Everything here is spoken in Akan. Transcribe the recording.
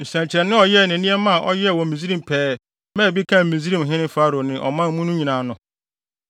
nsɛnkyerɛnne a ɔyɛe ne nneɛma a ɔyɛɛ wɔ Misraim pɛɛ maa bi kaa Misraimhene Farao ne ɔman mu no nyinaa no;